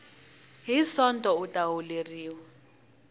hi sonto u ta holeriwa